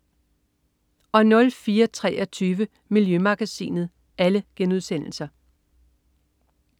04.23 Miljømagasinet*